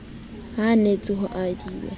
anetse ho ba re hedi